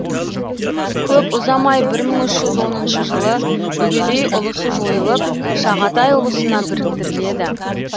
көп ұзамай бір мың үш жүз оныншы жылы үгедей ұлысы жойылып шағатай ұлысына біріктіріледі